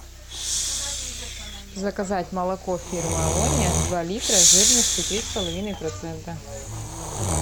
заказать молоко фирмы алония два литра жирностью три с половиной процента